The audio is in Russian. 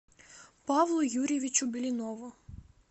павлу юрьевичу блинову